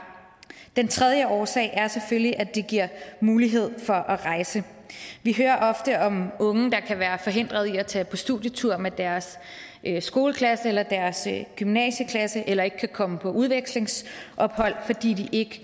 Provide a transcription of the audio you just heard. den tredje årsag er selvfølgelig at det giver mulighed for at rejse vi hører ofte om unge der kan være forhindret i at tage på studietur med deres skoleklasse eller deres gymnasieklasse eller ikke kan komme på udvekslingsophold fordi de ikke